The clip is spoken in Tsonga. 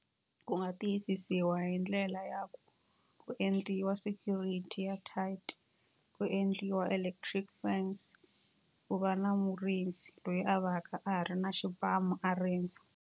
Ku nga tiyisisiwa hi ndlela ya ku ku endliwa security ya tight, ku endliwa electric fence, ku va na murindzi loyi a va ka a ha ri na xibamu a rindza.